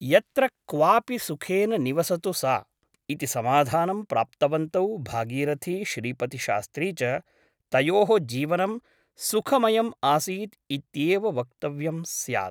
यत्र क्वापि सुखेन निवसतु सा ' इति समाधानं प्राप्तवन्तौ भागीरथी श्रीपतिशास्त्री च तयोः जीवनं सुखमयम् आसीत् इत्येव वक्तव्यं स्यात् ।